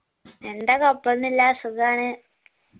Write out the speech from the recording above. എന്താ കൊയ്‌പ്പൊന്നുഇല്യ സുഗാണ്